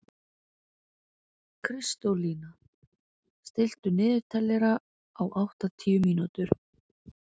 Kristólína, stilltu niðurteljara á áttatíu mínútur.